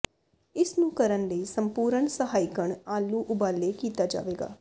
ਇਸ ਨੂੰ ਕਰਨ ਲਈ ਸੰਪੂਰਣ ਸਹਾਇਕਣ ਆਲੂ ਉਬਾਲੇ ਕੀਤਾ ਜਾਵੇਗਾ